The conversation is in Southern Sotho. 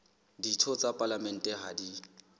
ditho tsa palamente ha di